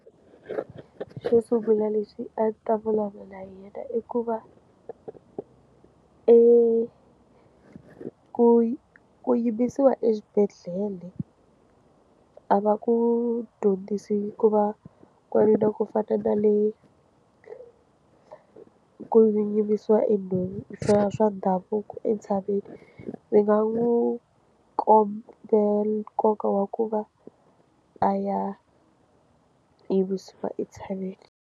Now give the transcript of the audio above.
Xo sungula lexi a ni ta vulavula i ku va eku yimbisiwa exibedhlele a va ku dyondzisi ku va n'wanuna ku fana na le ku yimbisiwa swa ndhavuko entshaveni ndzi nga n'wi kombisa nkoka wa ku va a ya yimbisiwa entshaveni.